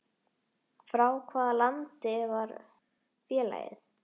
Frá hvaða landi var félagið?